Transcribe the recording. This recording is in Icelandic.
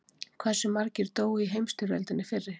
Hversu margir dóu í heimsstyrjöldinni fyrri?